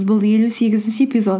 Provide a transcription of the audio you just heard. бұл елу сегізінші эпизод